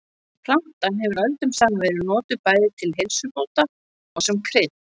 Plantan hefur öldum saman verið notuð bæði til heilsubóta og sem krydd.